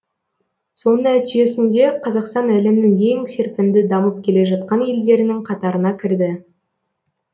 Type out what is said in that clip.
соның нәтижесінде қазақстан әлемнің ең серпінді дамып келе жатқан елдерінің қатарына кірді